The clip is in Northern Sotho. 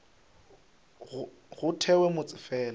go thewe motse fela le